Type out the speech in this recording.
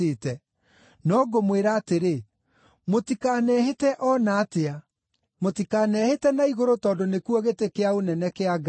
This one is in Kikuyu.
No ngũmwĩra atĩrĩ: Mũtikanehĩte o na atĩa; mũtikanehĩte na igũrũ tondũ nĩkuo gĩtĩ kĩa ũnene kĩa Ngai;